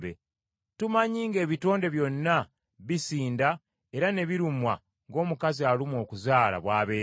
Tumanyi ng’ebitonde byonna bisinda era ne birumwa ng’omukazi alumwa okuzaala bw’abeera.